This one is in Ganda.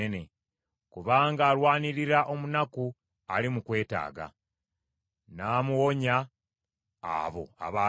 Kubanga alwanirira omunaku ali mu kwetaaga, n’amuwonya abo abaagala afe.